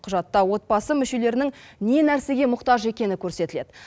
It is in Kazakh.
құжатта отбасы мүшелерінің не нәрсеге мұқтаж екені көрсетіледі